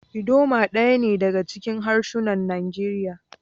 Idoma daya ne daga cikin harsunan Najeriya.